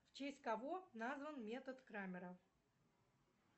в честь кого назван метод крамера